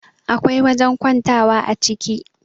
akwai wajen kwantawa a ciki